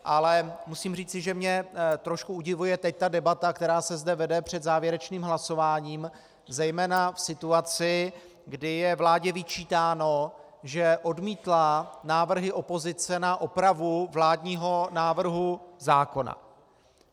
Ale musím říci, že mě trošičku udivuje teď ta debata, která se zde vede před závěrečným hlasováním, zejména v situaci, kdy je vládě vyčítáno, že odmítla návrhy opozice na opravu vládního návrhu zákona.